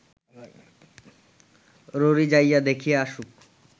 ররী যাইয়া দেখিয়া আসুক